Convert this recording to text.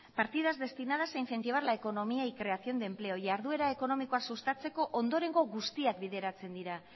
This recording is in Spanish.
partidas destinadas a incentivar la economía y creación de empleo jarduera ekonomikoa sustatzeko ondorengo guztiak bideratzen dira